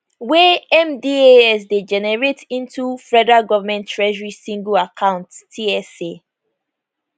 wey mdas dey generate into federal government treasury sngle account tsa